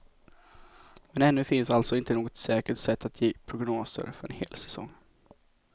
Men ännu finns alltså inte något säkert sätt att ge prognoser för en hel säsong.